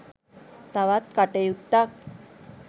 තවත් කටයුත්තක්